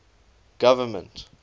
government